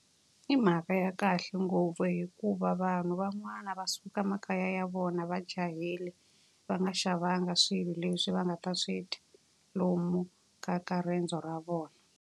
I mhaka ya kahle ngopfu hikuva vanhu van'wani va suka emakaya ya vona va jahile, va nga xavanga swilo leswi va nga ta swi dya lomu ka ka riendzo ra vona.